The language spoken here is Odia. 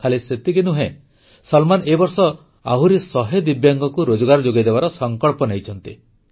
ଖାଲି ସେତିକି ନୁହେଁ ସଲମାନ ଏ ବର୍ଷ ଆହୁରି ଶହେ ଦିବ୍ୟାଙ୍ଗଙ୍କୁ ରୋଜଗାର ଯୋଗାଇଦେବାର ସଂକଳ୍ପ ନେଇଛନ୍ତି